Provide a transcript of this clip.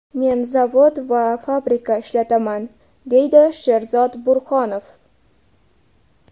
Men zavod va fabrika ishlataman, deydi Sherzod Burhonov.